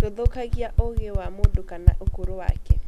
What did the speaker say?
Ndũthũkagia ũũgĩ wa mũndũ kana ũkũrũ wake.